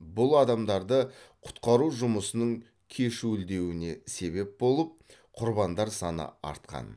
бұл адамдарды құтқару жұмысының кешуілдеуіне себеп болып құрбандар саны артқан